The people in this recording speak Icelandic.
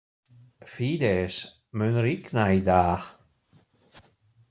Fídes, mun rigna í dag?